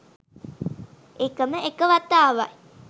එකම එක වතාවයි